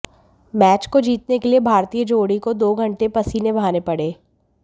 match को जीतने के लिए भारतीय जोड़ी को दो घंटे पसीने बहाने पड़े